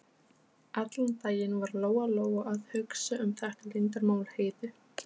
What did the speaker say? Við fylgdum straumnum inn í hliðarsal kirkjunnar.